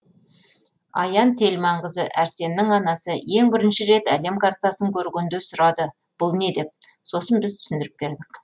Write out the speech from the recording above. аян телманқызы әрсеннің анасы ең бірінші рет әлем картасын көргенде сұрады бұл не деп сосын біз түсіндіріп бердік